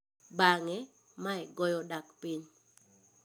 Bang'e, mae goyo dak piny.